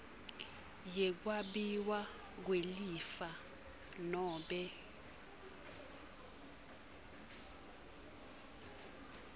yekwabiwa kwelifa nobe